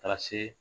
Ka taa se